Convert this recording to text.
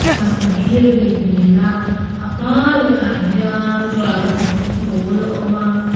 mandir anih hmel a a hmaa lehah hian rangva chung pawl a awm a.